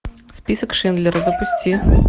список шиндлера запусти